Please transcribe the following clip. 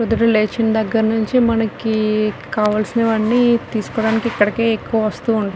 పొద్దున లేచిన దగ్గర నుంచి మనకి కావాల్సినవన్నీ తీసుకోవడానికి ఇక్కడికే ఎక్కువ వస్తువుంట్ --